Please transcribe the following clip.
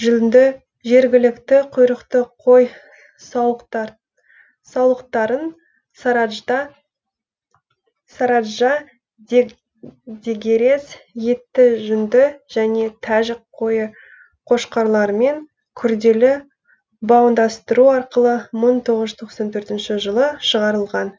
жүнді жергілікті құйрықты қой саулықтарын сараджа дегерес етті жүнді және тәжік қойы қошқарларымен күрделі баудандастыру арқылы мың тоғыз тоқсан төртінші жылы шығарылған